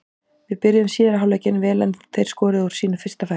Við byrjuðum síðari hálfleikinn vel en þeir skoruðu úr sínu fyrsta færi.